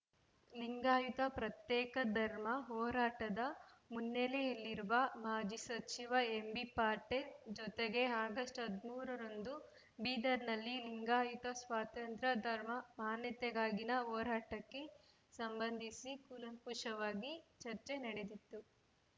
ಲಿಂಗಾಯತ ಪ್ರತ್ಯೇಕ ಧರ್ಮ ಹೋರಾಟದ ಮುನ್ನೆಲೆಯಲ್ಲಿರುವ ಮಾಜಿ ಸಚಿವ ಎಂಬಿ ಪಾಟೀಲ್‌ ಜೊತೆಗೆ ಆಗಸ್ಟ್ ಹದಿಮೂರರಂದು ಬೀದರ್‌ನಲ್ಲಿ ಲಿಂಗಾಯತ ಸ್ವತಂತ್ರ ಧರ್ಮ ಮಾನ್ಯತೆಗಾಗಿನ ಹೋರಾಟಕ್ಕೆ ಸಂಬಂಧಿಸಿ ಕೂಲಂಕುಷವಾಗಿ ಚರ್ಚೆ ನಡೆದಿತ್ತು